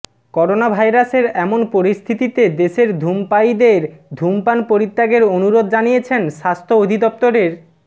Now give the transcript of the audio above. করোনাভাইরাসের এমন পরিস্থিতিতে দেশের ধূমপায়ীদের ধূমপান পরিত্যাগের অনুরোধ জানিয়েছেন স্বাস্থ্য অধিদফতরের